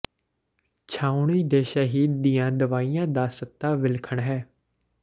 ਛਾਉਣੀ ਦੇ ਸ਼ਹਿਦ ਦੀਆਂ ਦਵਾਈਆਂ ਦਾ ਸਤ੍ਹਾ ਵਿਲੱਖਣ ਹੈ